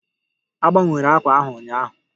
A gbanwere àkwà ahụ ụnyaahụ